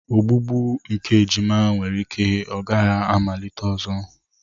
Ogbugbu nke ejima nwere ike ghara ịmalite ọzọ.